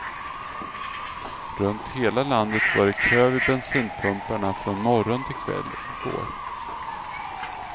Runt hela landet var det kö vid bensinpumparma från morgon till kväll i går.